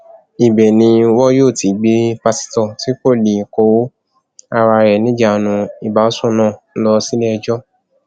ibẹ ni wọn yóò ti gbé pásítọ tí kò lè kó ara ẹ níjànú ìbásùn náà lọ síléẹjọ